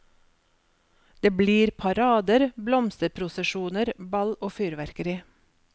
Det blir parader, blomsterprosesjoner, ball og fyrverkeri.